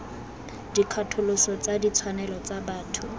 dikgatholoso tsa ditshwanelo tsa botho